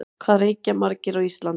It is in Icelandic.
Hvað reykja margir á Íslandi?